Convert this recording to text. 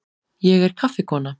Ég er kaffikona.